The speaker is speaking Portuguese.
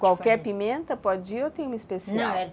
Qualquer pimenta pode ir ou tem uma especial? Não,